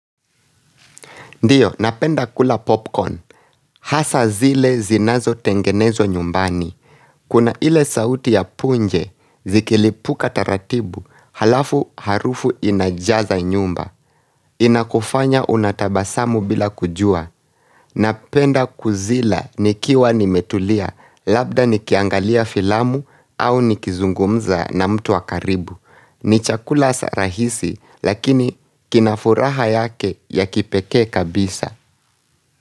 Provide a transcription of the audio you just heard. Ndiyo, napenda kula popcorn. Hasa zile zinazo tengenezwa nyumbani. Kuna ile sauti ya punje, zikilipuka taratibu, halafu harufu inajaza nyumba. Inakufanya unatabasamu bila kujua. Napenda kuzila nikiwa nimetulia, labda nikiangalia filamu au nikizungumza na mtu wakaribu. Ni chakula sarahisi, lakini kinafuraha yake ya kipekee kabisa.